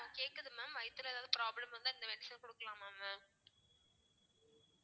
கேக்குது mam வயித்துல ஏதாவது problem வந்தா இந்த medicine குடுக்கலாமா mam